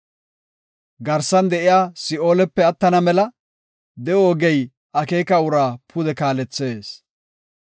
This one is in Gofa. Garsan de7iya si7oolepe attana mela de7o ogey akeeka uraa pude kaalethees.